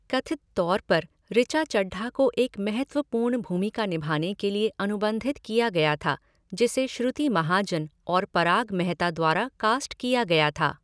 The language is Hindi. कथित तौर पर ऋचा चड्ढा को एक महत्वपूर्ण भूमिका निभाने के लिए अनुबंधित किया गया था, जिसे श्रुति महाजन और पराग मेहता द्वारा कास्ट किया गया था।